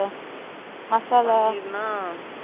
அந்த kebab stick ல போட்டு